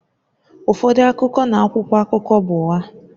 Ụfọdụ akụkọ na akwụkwọ akụkọ bụ ụgha